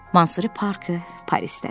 Mansuri parkı Parisdədir.